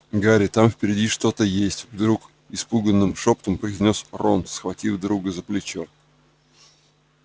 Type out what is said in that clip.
гарри там впереди что-то есть вдруг испуганным шёпотом произнёс рон схватив друга за плечо